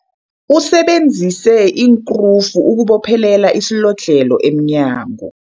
Usebenzise iinkrufu ukubophelela isilodlhelo emnyango.